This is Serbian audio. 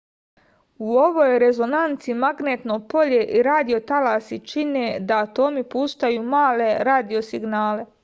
u ovoj rezonanci magnetno polje i radio talasi čine da atomi puštaju male radio signale